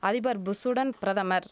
அதிபர் புஷ் உடன் பிரதமர்